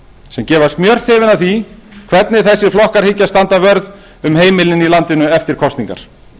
sem gefa smjörþefinn af því hvernig þessir flokkar hyggjast standa vörð um heimilin í landinu eftir kosningar